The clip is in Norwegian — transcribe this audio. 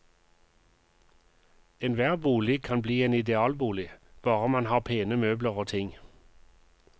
Enhver bolig kan bli en idealbolig, bare man har pene møbler og ting.